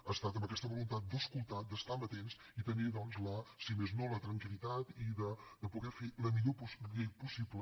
ha estat amb aquesta voluntat d’escoltar d’estar amatents i de tenir si més no la tranquil·litat de poder fer la millor llei possible